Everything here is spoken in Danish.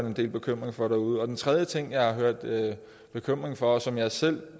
en del bekymring for derude den tredje ting jeg har hørt bekymring for og som jeg selv